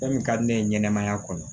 Fɛn min ka di ne ye ɲɛnɛmaya kɔnɔ